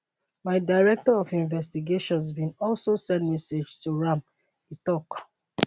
my director of investigations bin also send message to am e tok